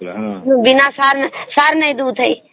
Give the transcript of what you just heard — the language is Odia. ବିନା ସାର ସାର ନାଇଁ ଦେଉଥାଇ